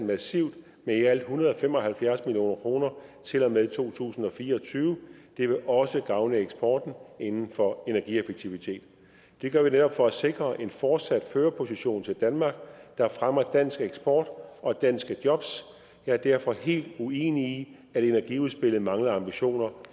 massivt med i alt en hundrede og fem og halvfjerds million kroner til og med to tusind og fire og tyve det vil også gavne eksporten inden for energieffektivitet det gør vi netop for at sikre en fortsat førerposition til danmark der fremmer dansk eksport og danske jobs jeg er derfor helt uenig i at energiudspillet mangler ambitioner